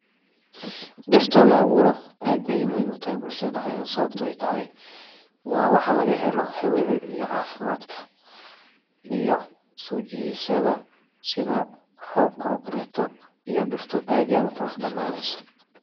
Dirta oo la abuuro aad ayeey muhiim utahay sababta oo ah waxaa laga helaa cafimaad iyo hawa iyo soo jidasha roobka iyo dulka oo qurux noqonaaya.